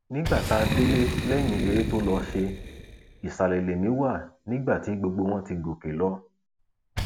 nígbà tá a délé lẹyìn eré tó lọọ ṣe ìsàlẹ lèmi wà nígbà tí gbogbo wọn ti gòkè lọ